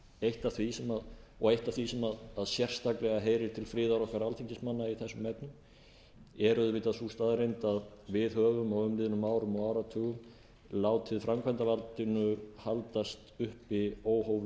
eitt af því og eitt af var sem sérstaklega heyrir til friðar okkar alþingismanna í þessum efnum er auðvitað sú staðreynd að við höfum á umliðnum árum og áratugum látið framkvæmdarvaldinu haldast uppi óhófleg völd